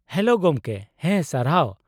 Hello ᱜᱚᱢᱠᱮ, ᱦᱮᱸ ᱥᱟᱨᱦᱟᱣ ᱾